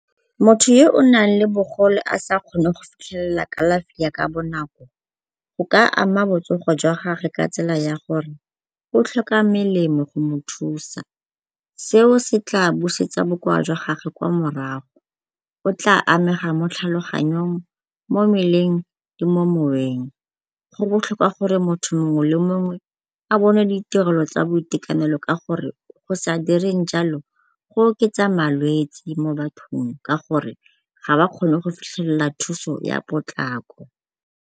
Motho yo o nang le bogole a sa kgone go fitlhelela kalafi ya ka bonako go ka ama botsogo jwa gage ka tsela ya gore o tlhoka melemo go mo thusa. Seo se tla busetsa bokoa jwa gage kwa morago. O tla amega mo tlhaloganyong, mo mmeleng le mo moweng. Go botlhokwa gore motho mongwe le mongwe a bone ditirelo tsa boitekanelo ka gore go sa direng jalo go oketsa malwetsi mo bathong ka gore go sa direng jalo go oketsa malwetsi mo bathong ka gore ga ba kgone go fitlhelela thuso ya potlako.